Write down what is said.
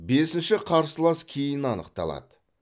бесінші қарсылас кейін анықталады